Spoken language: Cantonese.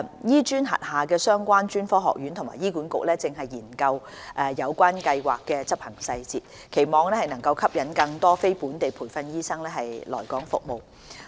醫專轄下的相關專科學院及醫管局現正研究有關計劃的執行細節，期望能吸引更多非本地培訓醫生來港服務。